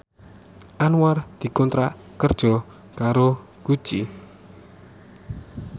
Anwar dikontrak kerja karo Gucci